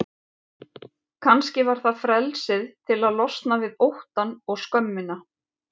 Kannski var það frelsið til að losna við óttann og skömmina.